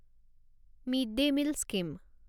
mid day meal scheme